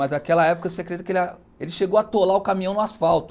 Mas naquela época, você acredita que ele ele chegou a atolar o caminhão no asfalto.